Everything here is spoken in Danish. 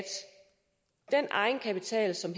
den egenkapital som